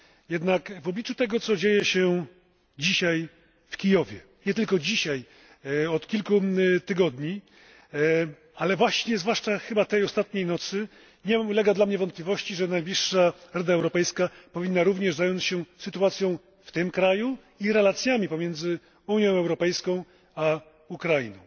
Jednak w obliczu tego, co dzieje się dzisiaj w Kijowie, nie tylko dzisiaj, od kilku tygodni, a zwłaszcza ostatniej nocy, nie ulega dla mnie wątpliwości, że najbliższa Rada Europejska powinna również zająć się sytuacją w tym kraju i relacjami pomiędzy Unią Europejską a Ukrainą.